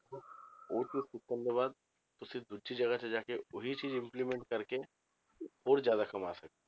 ਉਹ ਚੀਜ਼ ਸਿੱਖਣ ਤੋਂ ਬਾਅਦ ਤੁਸੀਂ ਦੂਜੀ ਜਗ੍ਹਾ ਤੇ ਜਾ ਕੇ ਉਹੀ ਚੀਜ਼ implement ਕਰਕੇ ਹੋਰ ਜ਼ਿਆਦਾ ਕਮਾ ਸਕਦੇ